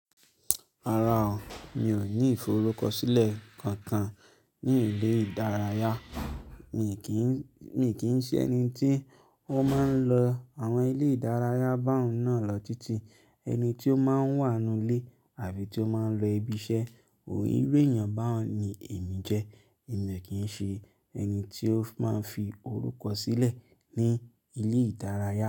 Rárá o, mi ò ní ìforúkọsílẹ̀ kankan ní ilé ìdárayá. Mi kì í, mi kì í ṣẹ ẹni tí ó máa ń lọ àwọn ilé ìdárayá bá òun náà lọ títí. Ẹni tí ó máa ń wà n nú ilé àbí tí ó máa ń lọ ibi iṣẹ́, iru èèyàn báun ni èmi jẹ́. Èmi ò kí ń ṣe ẹni tí ó máa ń fi orúkọ sílẹ̀ ní ilé ìdárayá.